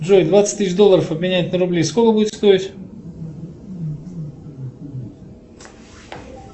джой двадцать тысяч долларов обменять на рубли сколько будет стоить